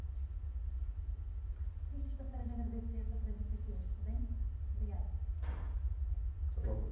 Então a gente gostaria de agradecer a sua presença aqui hoje, está bem? obrigada!